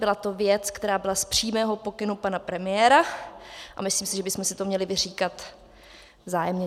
Byla to věc, která byla z přímého pokynu pana premiéra, a myslím si, že bychom si to měli vyříkat vzájemně.